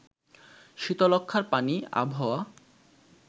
শীতলক্ষ্যার পানি, আবহাওয়া